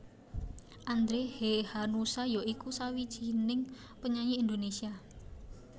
Andre Hehanussa iku sawijining penyanyi Indonesia